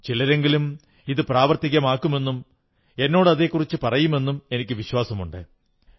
ചിലരെങ്കിലും ഇത് പ്രാവർത്തികമാക്കുമെന്നും എന്നോട് അതെക്കുറിച്ചു പറയുമെന്നും എനിക്കു വിശ്വാസമുണ്ട്